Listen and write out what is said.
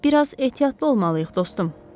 Bir az ehtiyatlı olmalıyıq, dostum.